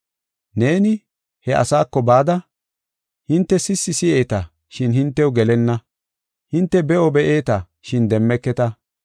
“ ‘Neeni he asaako bada, hinte sissi si7eeta, shin hintew gelenna; hinte be7o be7eeta, shin demmeketa.